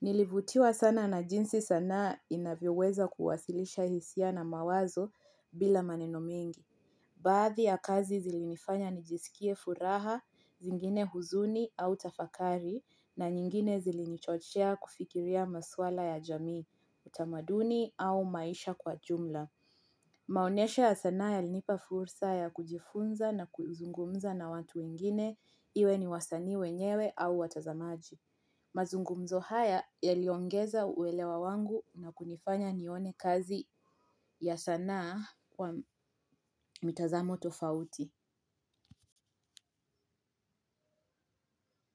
nilivutiwa sana na jinsi sanaa inavyoweza kuwasilisha hisia na mawazo bila maneno mengi. Baadhi ya kazi zilinifanya nijisikie furaha, zingine huzuni au tafakari, na nyingine zilinichochea kufikiria maswala ya jamii, utamaduni au maisha kwa jumla. Maoneshe ya sana yalinipa fursa ya kujifunza na kuzungumza na watu wengine iwe ni wasanii wenyewe au watazamaji. Mazungumzo haya yaliongeza uwelewa wangu na kunifanya nione kazi ya sanaa wa mitazamo tofauti.